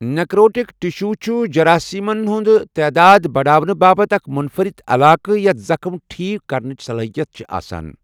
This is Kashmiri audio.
نیکروٹک ٹِشو چھُ جراسِیٖمَن ہٕنٛز تعٲداد بڑاونہٕ باپتھ اکھ مُنفَرِد علاقہٕ، یَتھ زخم ٹھیک کرنٕچ صلٲحیت چھِ آسان۔